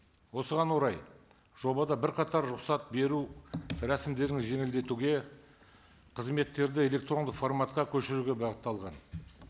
осыған орай жобада бірқатар рұқсат беру рәсімдерін жеңілдетуге қызметтерді электрондық форматқа көшіруге бағытталған